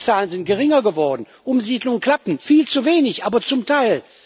Die Zahlen sind geringer geworden, Umsiedlungen klappen viel zu wenig, aber zum Teil.